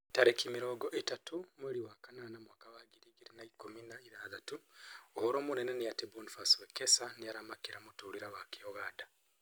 Tarĩki mĩrongo ĩtatũ mweri wa kanana mwaka wa ngiri igĩrĩ na ikũmi na ithathatũ: ũhoro mũnene nĩ atĩ Boniface Wekesa nĩaramakĩra mũtũrĩre wake Uganda